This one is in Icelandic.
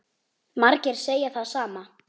Margir segja það sama.